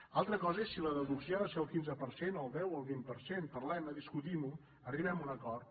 una altra cosa és si la deducció ha de ser del quinze per cent del deu o el vint per cent parlem·ne discutim·ho arribem a un acord